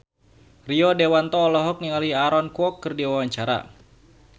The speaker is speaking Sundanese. Rio Dewanto olohok ningali Aaron Kwok keur diwawancara